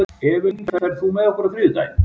Evelyn, ferð þú með okkur á þriðjudaginn?